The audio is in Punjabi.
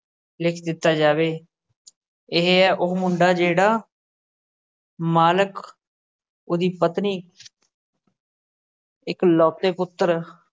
ਲਿਖ ਦਿੱਤਾ ਜਾਵੇ, ਇਹ ਹੈ ਉਹ ਮੁੰਡਾ ਜਿਹੜਾ ਮਾਲਕ, ਉਹਦੀ ਪਤਨੀ ਇੱਕਲੌਤੇ ਪੁੱਤਰ